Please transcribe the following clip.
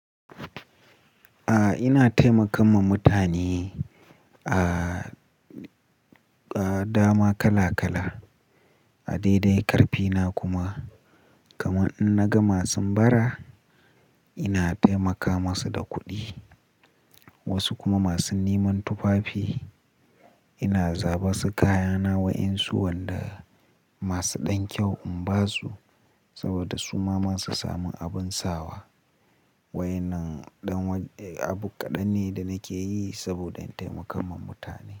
A'a, ina taimakan ma mutane a, a dama kala kala. A daidai karfina kuma, kaman in naga masun bara ina taimaka masu da kuɗi. Wasu kuma masu neman tufafi ina zaba su kayana wayinsu wanda masu ɗan kyau in basu saboda su ma su samun abun sawa. Wainan ɗan abu kaɗan ne da nake yi saboda in taimaka ma mutane.